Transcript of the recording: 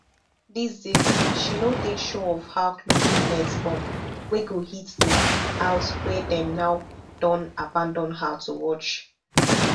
these days she no dey sure of how close di next bomb wey go hit di house wey dem now don abandon her to watch